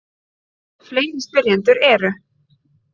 Fleiri spyrjendur eru: